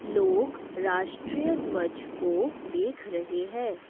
लोग राष्ट्रीय ध्वज को देख रहे है।